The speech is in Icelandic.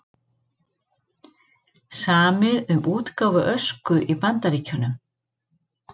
Samið um útgáfu Ösku í Bandaríkjunum